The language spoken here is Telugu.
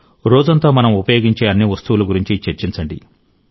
రోజంతా మనం ఉపయోగించే అన్ని వస్తువుల గురించి చర్చించండి